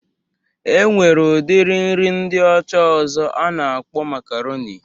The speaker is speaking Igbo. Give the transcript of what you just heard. E nwere udiri nri ndị ọcha ọzọ a na-akpọ makaronị